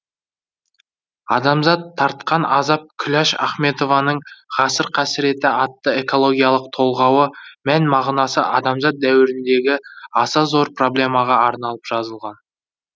адамзат тартқан азап күләш ахметованың ғасыр қасіреті атты экологиялық толғауы мән мағынасы адамзат дәуіріндегі аса зор проблемаға арналып жазылған